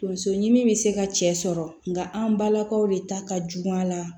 Tonso ɲimi be se ka cɛ sɔrɔ nka an balakaw de ta ka jugu a la